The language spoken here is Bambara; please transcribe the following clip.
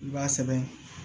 I b'a sɛbɛn